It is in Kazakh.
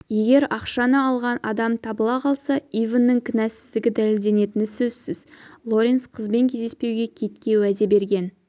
егер ақшаны алған адам табыла қалса ивэннің кінәсіздігі дәлелденетіні сөзсіз лоренс қызбен кездеспеуге китке уәде берген